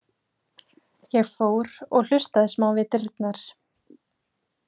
Ég fór og hlustaði smá við dyrnar.